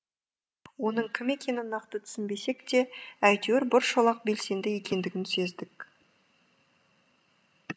оның кім екенін нақты түсінбесек те әйтеуір бір шолақ белсенді екендігін сездік